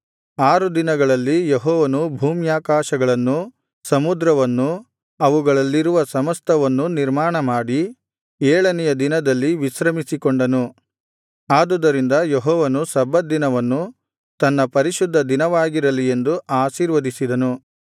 ಆರು ದಿನಗಳಲ್ಲಿ ಯೆಹೋವನು ಭೂಮ್ಯಾಕಾಶಗಳನ್ನೂ ಸಮುದ್ರವನ್ನೂ ಅವುಗಳಲ್ಲಿರುವ ಸಮಸ್ತವನ್ನೂ ನಿರ್ಮಾಣ ಮಾಡಿ ಏಳನೆಯ ದಿನದಲ್ಲಿ ವಿಶ್ರಮಿಸಿಕೊಂಡನು ಆದುದರಿಂದ ಯೆಹೋವನು ಸಬ್ಬತ್ ದಿನವನ್ನು ತನ್ನ ಪರಿಶುದ್ಧ ದಿನವಾಗಿರಲಿ ಎಂದು ಆಶೀರ್ವದಿಸಿದನು